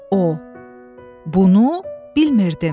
O, bunu bilmirdim.